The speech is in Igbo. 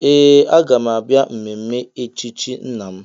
Ee! Aga m abịa mmemme echichi nna m.